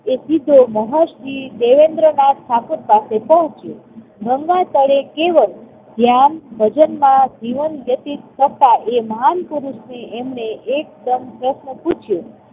એટલે તેઓ મહર્ષિ દેવેન્દ્રનાથ ઠાકુર પાસે પહોચ્યો. ગંગા તળે કેવળ ધ્યાન, ભજનમાં જીવન વ્યતીત કરતા એ મહાન પુરુષને એમણે એકદમ પ્રશ્ન પૂછ્યો